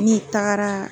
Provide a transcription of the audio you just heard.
Ne tagara